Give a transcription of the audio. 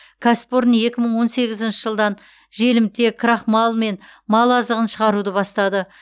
кәсіпорын екі мың он сегізінші жылдан желімтек крахмал мен мал азығын шығаруды бастады